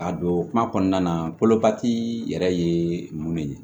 A don kuma kɔnɔna na kolo bati yɛrɛ ye mun ye